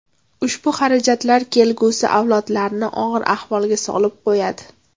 Ushbu xarajatlar kelgusi avlodlarni og‘ir ahvolga solib qo‘yadi.